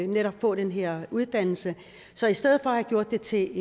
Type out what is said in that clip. netop at få den her uddannelse så i stedet for at have gjort det til